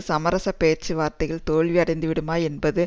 சமரச பேச்சுவார்த்தைகள் தோல்வியடைந்துவிடுமா என்பது